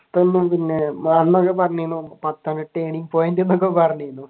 പിന്നെ അന്നൊക്കെ പറഞ്ഞിരുന്നു turning point എന്നൊക്കെ പറഞ്ഞിരുന്നു.